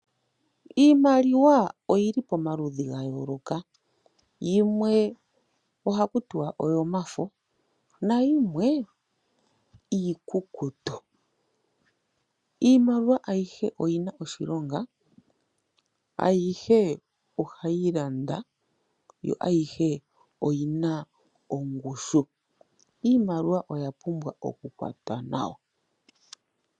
Iimaliwa oyi li pamaludhi ga yooloka, yimwe ohaku tiwa oyomafo na yimwe iikukutu. Iimaliwa ayihe oyi na oshilonga, ayihe ohayi landa, yo ayihe oyi na ongushu. Iimaliwa oya pumbwa okukwatwa nawa.